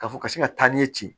Ka fɔ ka se ka taa ni ci